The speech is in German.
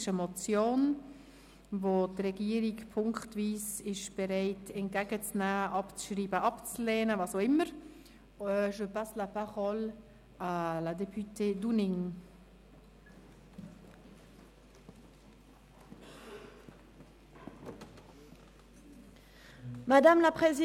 Die Regierung ist bereit, diese punktweise entgegenzunehmen, beziehungsweise sie will diese punktweise abschreiben oder ablehnen.